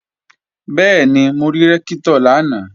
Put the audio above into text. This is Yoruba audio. Bẹ́ẹ̀ni, mo rí Rẹ́ktọ̀ lánàá